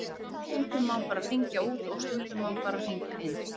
Stundum má bara hringja út og stundum má bara hringja inn.